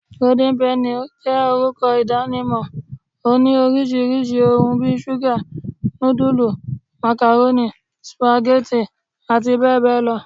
Golden penny jé orúkọ ìdánimọ̀, oní orisirisi òhún bí ṣuga, nudulú, macaroni, spaghetti àti bẹẹ bẹẹ lọ